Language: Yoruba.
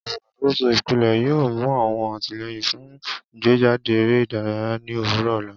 Oluṣakoso ipele yoo mu awọn atilẹyin fun igbejade ere idaraya ni owurọ ọla.